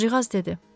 Qızcığaz dedi.